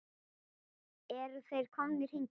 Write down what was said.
Eru þeir komnir hingað?